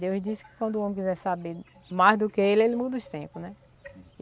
Deus disse que quando o homem quiser saber mais do que ele, ele muda os tempo, né?